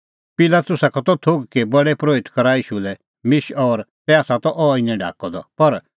पिलातुसा का त थोघ कि प्रधान परोहित करा ईशू लै मिश और तै आसा अह इनै ढाकअ द